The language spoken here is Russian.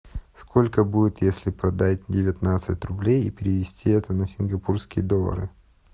сколько будет если продать девятнадцать рублей и перевести это на сингапурские доллары